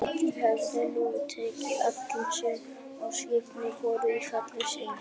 Bretar höfðu nú tekið alla, sem á skipinu voru, til fanga, alls